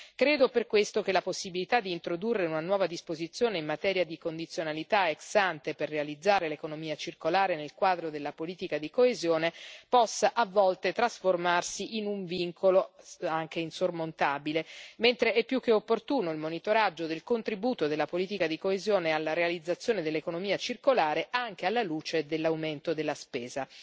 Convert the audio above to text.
Credo per questo che la possibilità di introdurre una nuova disposizione in materia di condizionalità ex ante per realizzare l'economia circolare nel quadro della politica di coesione possa a volte trasformarsi in un vincolo anche insormontabile, mentre è più che opportuno il monitoraggio del contributo della politica di coesione alla realizzazione dell'economia circolare, anche alla luce dell'aumento della spesa.